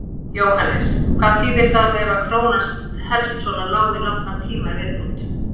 Jóhannes: Hvað þýðir það ef að krónan helst svona lág í langan tíma í viðbót?